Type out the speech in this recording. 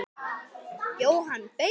Jóhann: Beikon?